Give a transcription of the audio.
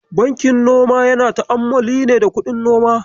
Bankin noma yana ta'ammali ne da kuɗin noma.